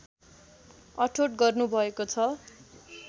अठोट गर्नुभएको छ